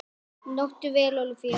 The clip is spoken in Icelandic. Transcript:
Njóttu vel Ólafía!